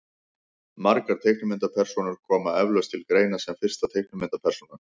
margar teiknimyndapersónur koma eflaust til greina sem fyrsta teiknimyndapersónan